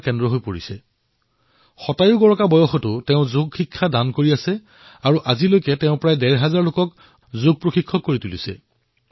এশ বছৰ বয়সতো তেওঁ সমগ্ৰ বিশ্বৰ লোকক যোগৰ প্ৰশিক্ষণ প্ৰদান কৰি আছে আৰু এতিয়ালৈ ডেৰ হাজাৰৰ লোকক যোগ শিক্ষক হিচাপে গঢ়ি তুলিছে